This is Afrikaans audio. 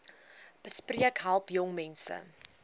besp help jongmense